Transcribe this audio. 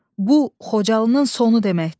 Bu Xocalının sonu deməkdir.